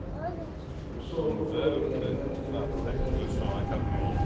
Og så bør jeg vel begynne å trene litt igjen.